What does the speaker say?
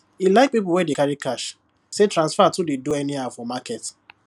e like people wey dey carry cash say transfer too dey dey do anyhow for market